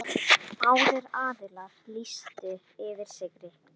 Báðir aðilar lýstu yfir sigri.